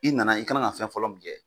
I nana i kana ka fɛn fɔlɔ mi kɛ.